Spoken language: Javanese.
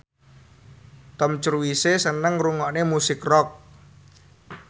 Tom Cruise seneng ngrungokne musik rock